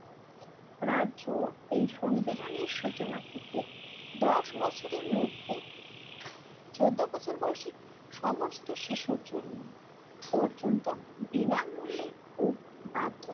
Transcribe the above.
রাজ্য এই সংবিধানের সূচনা থেকে দশ বছরের মধ্যে চোদ্দ বছর বয়সী সমস্ত শিশুর জন্য পর্যন্ত বিনামূল্যে ও বাধ্যতা